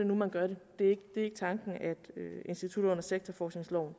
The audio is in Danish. nu man gør det det er ikke tanken at institutter der sektorforskningsloven